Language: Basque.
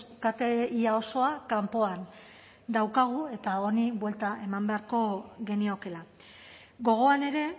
kate ia osoa kanpoan daukagu eta honi buelta eman beharko geniokeela gogoan ere